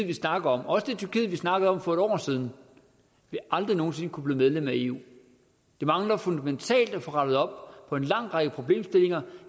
vi snakker om også det tyrkiet vi snakkede om for et år siden vil aldrig nogen sinde kunne blive medlem af eu det mangler fundamentalt at få rettet op på en lang række problemstillinger